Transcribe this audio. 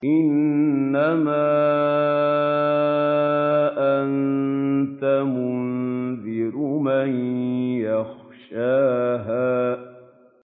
إِنَّمَا أَنتَ مُنذِرُ مَن يَخْشَاهَا